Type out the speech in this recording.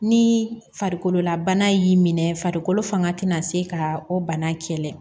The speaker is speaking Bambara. Ni farikolola bana y'i minɛ farikolo fanga tɛna se ka o bana kɛlɛ